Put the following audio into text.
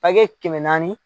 Hakɛ kɛmɛ naani